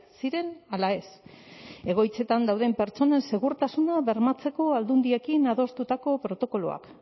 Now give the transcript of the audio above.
ziren ala ez egoitzetan dauden pertsonen segurtasuna bermatzeko aldundiekin adostutako protokoloak